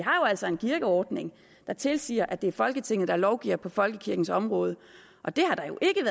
altså en kirkeordning der tilsiger at det er folketinget der lovgiver på folkekirkens område og det